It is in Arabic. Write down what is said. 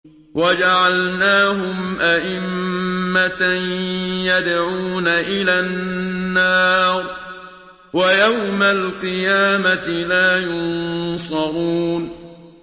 وَجَعَلْنَاهُمْ أَئِمَّةً يَدْعُونَ إِلَى النَّارِ ۖ وَيَوْمَ الْقِيَامَةِ لَا يُنصَرُونَ